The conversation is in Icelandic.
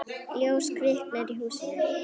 Ljós kviknar í húsinu.